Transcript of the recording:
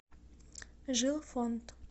жилфонд